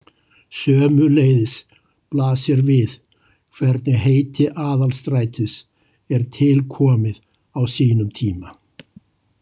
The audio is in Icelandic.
Sömuleiðis blasir við hvernig heiti Aðalstrætis er til komið á sínum tíma.